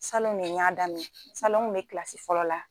Salon le n y'a daminɛ salon n kun be kilasi fɔlɔ la